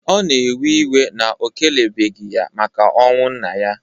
Ọ na-ewe iwe na o kelebeghi ya maka ọnwụ nna ya.